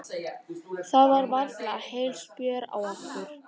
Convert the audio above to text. Það var varla heil spjör á okkur.